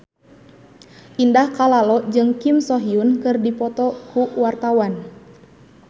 Indah Kalalo jeung Kim So Hyun keur dipoto ku wartawan